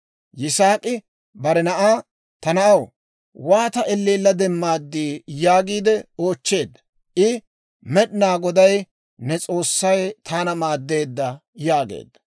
Yisaak'i bare na'aa, «Ta na'aw, waata elleella demmad?» yaagiide oochcheedda. I, «Med'inaa Goday ne S'oossay taana maaddeedda» yaageedda.